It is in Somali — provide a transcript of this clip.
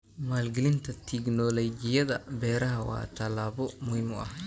Maalgelinta tignoolajiyada beeraha waa tallaabo muhiim ah.